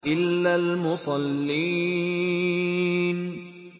إِلَّا الْمُصَلِّينَ